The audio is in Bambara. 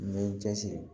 N bɛ n cɛsiri